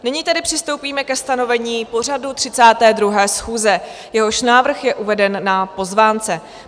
Nyní tedy přistoupíme ke stanovení pořadu 32. schůze, jehož návrh je uveden na pozvánce.